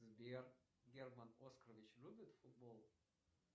сбер герман оскарович любит футбол